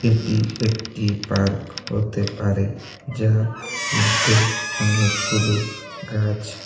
এটি একটি পার্ক হতে পারে যার মধ্যে অনেকগুলো গাছ--